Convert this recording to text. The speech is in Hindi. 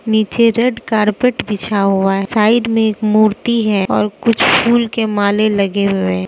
नीचे रेड कार्पेट बिछा हुआ है साइड में एक मूर्ति है और कुछ फूल के माले लगे हुए हैं।